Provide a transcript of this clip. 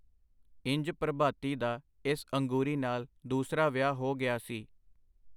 ਇੰਜ ਪ੍ਰਭਾਤੀ ਦਾ ਇਸ ਅੰਗੂਰੀ ਨਾਲ ਦੂਸਰਾ ਵਿਆਹ ਹੋ ਗਿਆ ਸੀ.